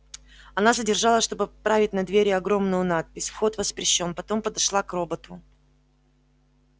она задержалась чтобы поправить на двери огромную надпись вход воспрещён потом подошла к роботу